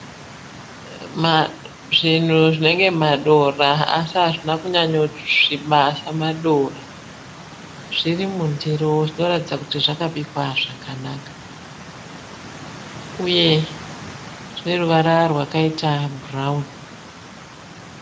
Zvinhu zvinenge madora asi hazvina kunyanyosviba samadora. Zvirimundiro zvinoratidza kuti zvakabikwa zvakanaka uye zvine ruvara rwakaita bhurawuni.